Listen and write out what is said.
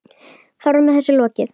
Þar með var þessu lokið.